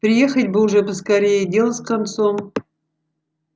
приехать бы уж поскорее и дело с концом